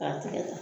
K'a tigɛ ta